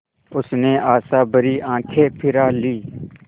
उसने आशाभरी आँखें फिरा लीं